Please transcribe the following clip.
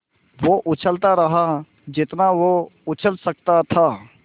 वो उछलता रहा जितना वो उछल सकता था